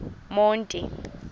monti